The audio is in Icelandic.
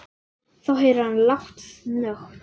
Þá heyrir hann lágt snökt.